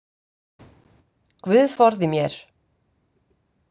Guð forði mér.